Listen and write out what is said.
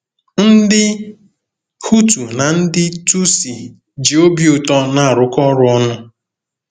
Ndị Hutu na ndị Tutsi ji obi ụtọ na-arụkọ ọrụ ọnụ